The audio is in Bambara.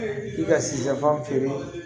I ka sijafan feere